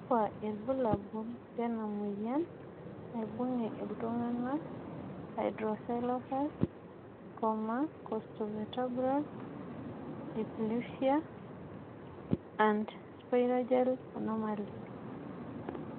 kakua irbulabol lena moyian naibungie iltunganak Hydrocephalus, costovertebral dysplasia, and Sprengel anomaly?